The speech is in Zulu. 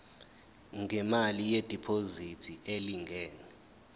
ngemali yediphozithi elingana